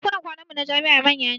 Ɗakunan kwanan mu na jami'a manya ne